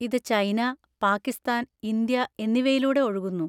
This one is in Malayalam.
ഇത് ചൈന, പാകിസ്ഥാൻ, ഇന്ത്യ എന്നിവയിലൂടെ ഒഴുകുന്നു.